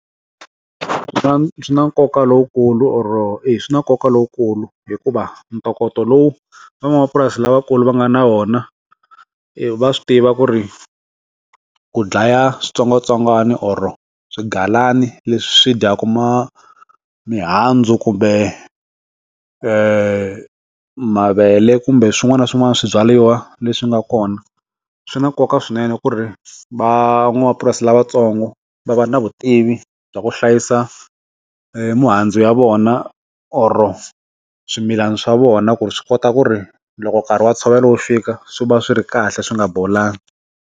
Swi na nkoka lowukulu or-o eya swi na nkoka lowukulu hikuva ntokoto lowu van'wamapurasi lavakulu va nga na vona va swi tiva ku ri ku dlaya switsongwatsongwana or-o swigalana leswi swi dyaku ma mihandzu kumbe eh, mavele kumbe swin'wana na swin'wana swibyaliwa leswi nga kona swi na nkoka swinene ku ri van'wamapurasi lavatsongo va va na vutivi bya ku hlayisa mihandzu ya vona or-o swimilana swa vona ku ri swi kota ku ri loko nkarhi wa ntshovelo wo fika swi va swi ri kahle swi nga bolangi.